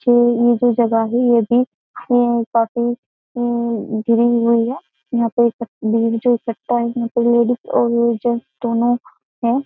जी ये जो जगह है ये भी ये उम्म काफी उम्म घिरी हुई है यहाँ पे यहाँ पे लेडीज और जैंट्स दोनों है।